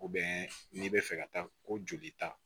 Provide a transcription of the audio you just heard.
n'i bɛ fɛ ka taa ko joli ta